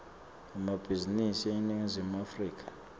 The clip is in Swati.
emabhizinisi eningizimu afrika